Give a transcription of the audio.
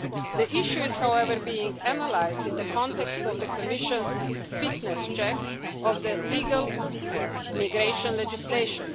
The issue is, however, being analysed in the context of the Commission's fitness check of the legal migration legislation.